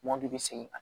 Mɔdi